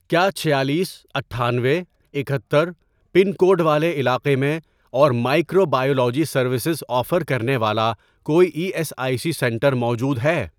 کیا چھالیس ،اٹھانوے ،اکہتر، پن کوڈ والے علاقے میں اور مائکرو بایولوجی سروسز آفر کرنے والا کوئی E S I C centre موجود ہے؟